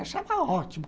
Eu achava ótimo.